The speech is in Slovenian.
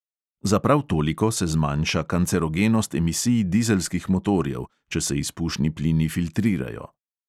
Za prav toliko se zmanjša kancerogenost emisij dizelskih motorjev, če se izpušni plini filtrirajo.